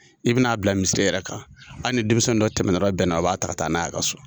I bɛna n' a bila misir yɛrɛ kan, hali ni denmisɛnnin dɔ tɛmɛ t'ɔla bɛnna o b'a ta ka taa n'a ye ka so.